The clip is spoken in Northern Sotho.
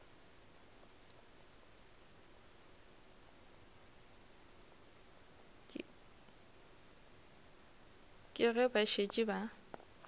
ke ge ba šetše ba